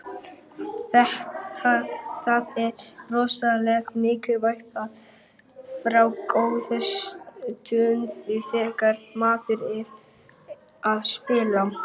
Það er rosalega mikilvægt að fá góðan stuðning þegar maður er að spila.